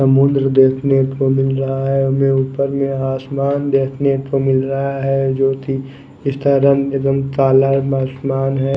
समुद्र देखने को मिल रहा है हमे ऊपर नीला आसमान देखने को मिल रहा है जो की जिसका रंग काला आसमान है।